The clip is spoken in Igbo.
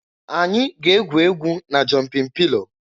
Anyị ga-egwu egwu na jọnpịn pịlo.